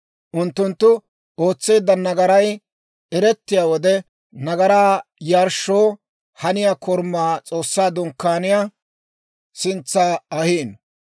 Unttunttu ootseedda nagaray erettiyaa wode, nagaraa yarshshoo haniyaa korumaa S'oossaa Dunkkaaniyaa sintsa ahino.